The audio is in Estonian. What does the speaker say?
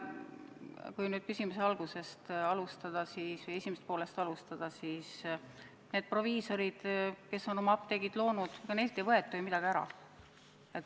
Kui küsimuse algusest või esimesest poolest alustada, siis need proviisorid, kes on oma apteegid loonud – ega neilt ei võeta ju midagi ära.